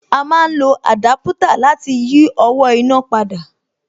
A má ń lo àdápútà láti yí owó iná padà